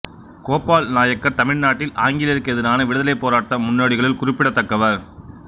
கோபால் நாயக்கர் தமிழ்நாட்டில் ஆங்கிலேயர்க்கு எதிரான விடுதலைப் போராட்ட முன்னோடிகளுள் குறிப்பிடத்தக்கவர்